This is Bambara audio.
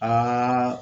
An ka